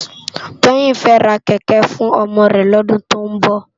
Toyin fè rá kèkè fún òmò rè lòdún tó nbò